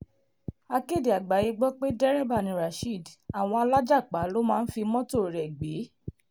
akéde àgbáyé gbọ́ pé dẹ́rẹ́bà ni rasheed àwọn alájàpá ló máa ń fi mọ́tò rẹ̀ gbé